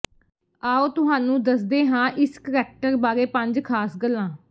ਆਓ ਤੁਹਾਨੂੰ ਦਸਦੇ ਹਾਂ ਇਸ ਕਰੈਕਟਰ ਬਾਰੇ ਪੰਜ ਖਾਸ ਗੱਲਾਂ